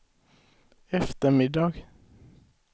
eftermiddag